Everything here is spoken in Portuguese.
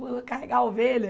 Vou carregar ovelha?